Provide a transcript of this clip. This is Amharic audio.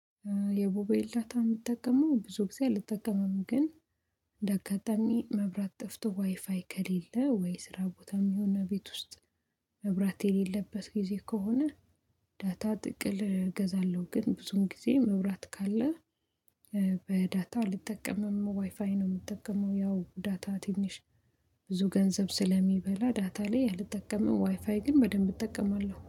የሞቦይል ዳት እምጠቅመው ብዙ ጊዜ አልጠቀመም። ግን እንደ አጋጣሚ መብራት ጥፍቶ ዋይፋይ ከሌለ ወይ ስራ ቦታም ይሁን ቤት ውስጥ መብራት የሌለበት ጊዜ ከሆነ። ዳታ ጥቅል እገዛለሁ ግን ብዙም ጊዜ መብራት ካለ። በዳታ ልጠቀምም ዋይፋይ ነው የምጠቀመው። ያው ዳታ ትንሽ ብዙ ገንዘብ ስለሚበላ ዳታ ላይ አልጠቀመው ዋይፋይ ግን በደንብ እጠቀማለሁ